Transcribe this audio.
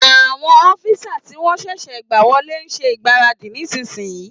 Àwọn ọ́físà tí wọ́n sẹ̀sẹ̀ gbà wọlé n ṣe ìgbáradì nísìínyi